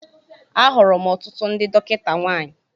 Ahụrụ m ọtụtụ ndị dọkịta nwanyị